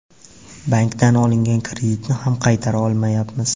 Bankdan olingan kreditni ham qaytara olmayapmiz.